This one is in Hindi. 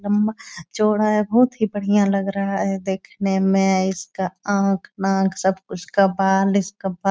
लम्बा चौड़ा है बहुत ही बढ़िया लग रहा है देखने में। इसका आंख नाक सब उसका बाल इसका बा --